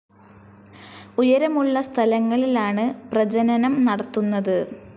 ഉയരമുളള സ്ഥലങ്ങളിലാണ് പ്രജനനം നടത്തുന്നത്.